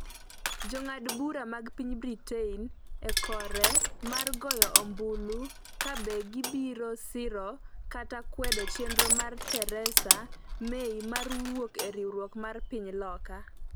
Jo ng'ad bura mag piny Britain ikore mar goyo ombulu ka be gibiro siro kata kwedo chenro mar Theresa May mar wuok e riwruok mar piny loka